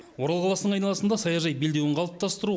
орал қаласының айналасында саяжай белдеуін қалыптастыру